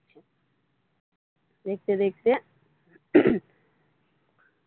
দেখতে দেখতে।